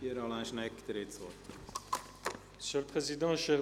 – Pierre Alain Schnegg, Sie haben das Wort.